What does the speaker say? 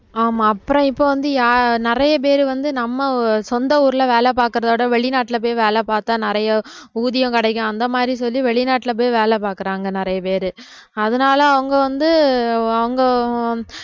ஆமா அப்புறம் இப்ப வந்து யா~ நிறைய பேர் வந்து நம்ம சொந்த ஊர்ல வேலை பார்க்கிறதை விட வெளிநாட்டுல போய் வேலை பார்த்தா நிறைய ஊதியம் கிடைக்கும் அந்த மாதிரி சொல்லி வெளிநாட்டுல போய் வேலை பாக்குறாங்க நிறைய பேரு அதனால அவுங்க வந்து அவுங்க